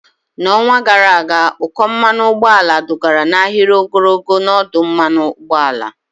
N'ọnwa gara aga, ụkọ mmanụ ụgbọala dugara n'ahịrị ogologo n'ọdụ mmanụ ụgbọala.